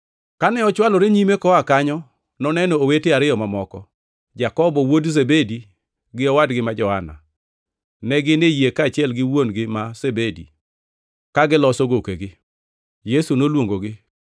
Kane ochwalore nyime koa kanyo, noneno owete ariyo mamoko, Jakobo wuod Zebedi gi owadgi ma Johana. Ne gin e yie kaachiel gi wuon-gi ma Zebedi, ka giloso gokegi. Yesu noluongogi,